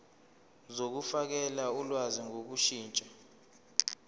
zokufakela ulwazi ngokushintsha